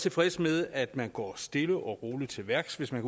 tilfredse med at man går stille og roligt til værks hvis man